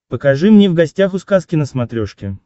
покажи мне в гостях у сказки на смотрешке